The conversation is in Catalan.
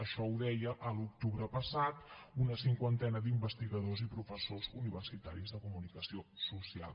això ho deien a l’octubre passat una cinquantena d’investigadors i professors universitaris de comunicació social